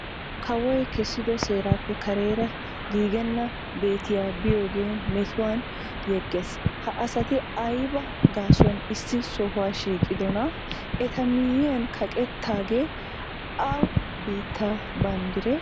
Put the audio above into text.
Kawoy kessiddo seeraappe kareera giigenna bettiya biyogee metuwan yegees, ha asti aybi gaasuwan issi sohuwa shiiqqiddonaa? Eta miyiyan kaqqettagee awa biittaa banddiree?